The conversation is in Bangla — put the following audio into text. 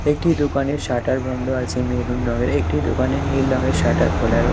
একটি দোকানের শাটার বন্ধ আছে মেরুন রঙের একটি দোকানের নীল রঙের শাটার খোলা রয়ে--